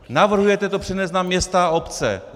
Navrhujete to přenést na města a obce.